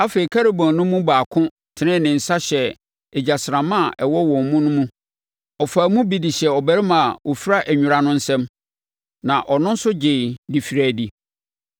Afei, Kerubim no mu baako tenee ne nsa hyɛɛ egyasramma a ɛwɔ wɔn mu no mu. Ɔfaa mu bi de hyɛɛ ɔbarima a ɔfira nwera no nsam, na ɔno nso gyeeɛ de firii adi.